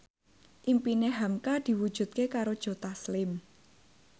impine hamka diwujudke karo Joe Taslim